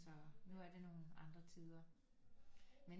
Så nu er det nogle andre tider men